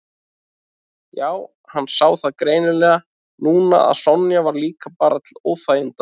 Já, hann sá það greinilega núna að Sonja var líka bara til óþæginda.